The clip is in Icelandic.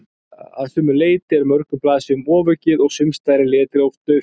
Að sumu leyti er mörgum blaðsíðum ofaukið og sumsstaðar er letrið of dauft.